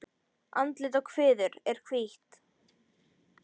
Andlit og kviður er hvítt.